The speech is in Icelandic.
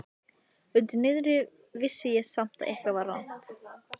Undir niðri vissi ég samt að eitthvað var rangt.